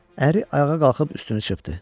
Əri ayağa qalxıb üstünü çırpdı.